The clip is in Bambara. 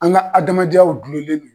An ŋa adamadenyaw dulolen do